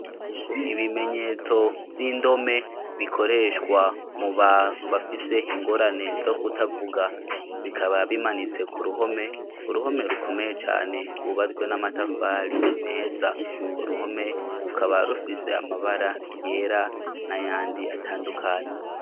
Ibimenyetso vy'indome bikoreshwa mu bantu bafise ingorane zo kutavuga bikaba bimanitse ku ruhome uruhome rukomeye cane rwubazwe n'amatafari meza ku ruhome rukaba rufise amabara yera na yandi yatandukanye.